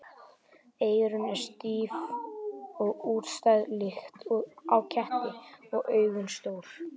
Eyrun eru stíf og útstæð líkt og á ketti og augun stór.